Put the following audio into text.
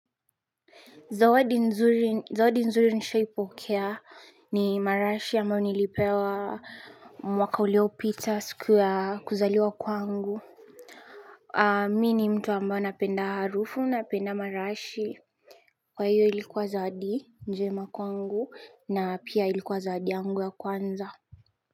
Zawadi nzuri nishaipokea ni marashi ambayo nilipewa aaa mwaka uliopita siku yaa kuzaliwa kwangu. Aah Mi ni mtu ambao napenda harufu napenda marashi. Kwa hiyo ilikuwa zawadi njema kwangu, na pia ilikuwa zawadi yangu ya kwanza.